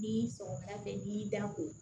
Ni sɔgɔmada fɛ n'i y'i dan ko